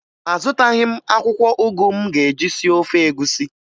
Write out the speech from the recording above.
Azụtaghị m akwụkwọ ụgụ m ga-eji sie ofe egwusi